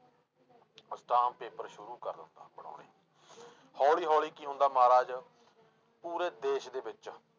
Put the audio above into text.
ਅਸਟਾਮ paper ਸ਼ੁੁਰੂ ਕਰ ਲੈਂਦਾ ਬਣਾਉਣੇ ਹੌਲੀ ਹੌਲੀ ਕੀ ਹੁੰਦਾ ਮਹਾਰਾਜ ਪੂਰੇ ਦੇਸ ਦੇ ਵਿੱਚ